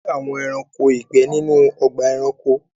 À le rí àwọn ẹ̀ráṇkò igbẹ̀ nínu ọ̀gbà ẹ̀ráṇkò.